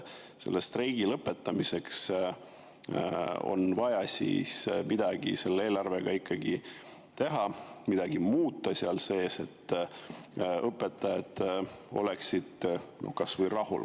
Selle streigi lõpetamiseks on vaja eelarvega midagi ikkagi teha, midagi seal muuta, et õpetajad oleksid kas või rahul.